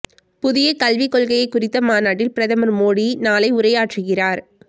புதிய கல்விக் கொள்கை குறித்த மாநாட்டில் பிரதமர் மோடி நாளை உரையாற்றுகிறார்